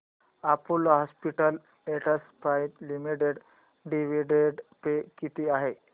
Apollo Hospitals Enterprise Limited dividend pay किती आहे